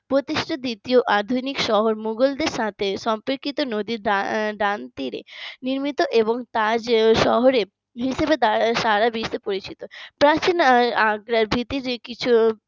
প্রতিষ্ঠ দ্বিতীয় আধুনিক শহর মুঘল দের সাথে সম্পর্কিত নদীর দা ডান তীরে নির্মিত এবং শহরে হিসেবে সারা বিশ্বে পরিচিত প্রাচীন আগ্রা